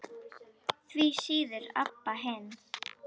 Því síður Abba hin.